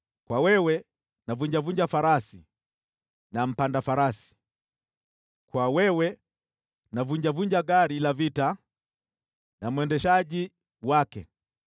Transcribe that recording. kwa wewe navunjavunja farasi na mpanda farasi, kwa wewe navunjavunja gari la vita na mwendeshaji wake,